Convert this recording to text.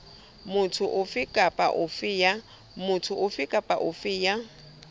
motho ofe kapa ofe ya